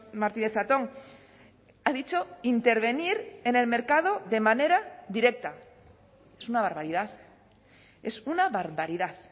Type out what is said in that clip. martínez zatón ha dicho intervenir en el mercado de manera directa es una barbaridad es una barbaridad